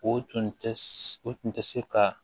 O tun tɛ o tun tɛ se ka